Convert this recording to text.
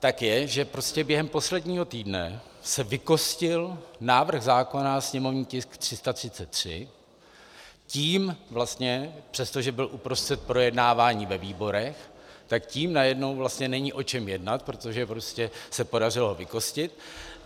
tak je, že prostě během posledního týdne se vykostil návrh zákona, sněmovní tisk 333, tím vlastně, přestože byl uprostřed projednávání ve výborech, tak tím najednou vlastně není o čem jednat, protože prostě se podařilo vykostit.